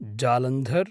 Jalandhar